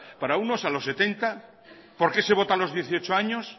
para unos a los setenta por qué se vota a los dieciocho años